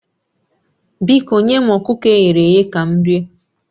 Biko nye m ọkụkọ e ghere eghe ka m rie